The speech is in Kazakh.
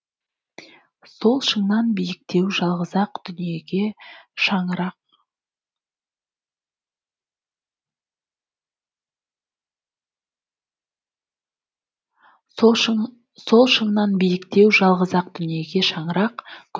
сол шыңнан биіктеу жалғыз ақ дүниеге шаңырақ көк аспан